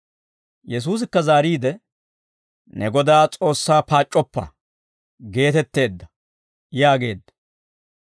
Yesuusikka zaariide, « ‹Ne Godaa S'oossaa paac'c'oppa› geetetteedda» yaageedda.